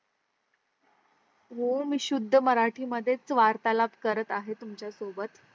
हो मी शुद्ध मराठी मध्येच वार्तालाभ करत आहे तुमच्या सोबत